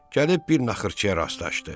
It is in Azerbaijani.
Gəlib bir naxırçıya rastlaşdı.